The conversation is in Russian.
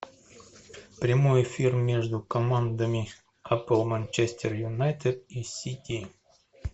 прямой эфир между командами апл манчестер юнайтед и сити